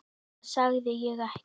Það sagði ég ekki.